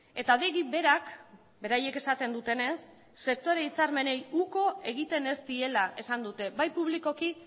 eta adegi berak beraiek esaten dutenez sektore hitzarmenei uko egiten ez diela esan dute bai publikoki